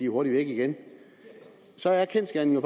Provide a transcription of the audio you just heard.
hurtigt væk igen så er kendsgerningen